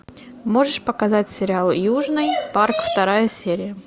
можешь показать сериал южный парк вторая серия